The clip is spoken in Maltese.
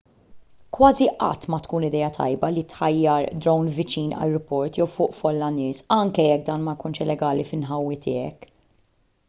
kważi qatt ma tkun idea tajba li ttajjar drone viċin ajruport jew fuq folla nies anke jekk dan ma jkunx illegali fl-inħawi tiegħek